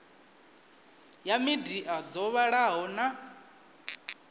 ya midia dzo vhalaho na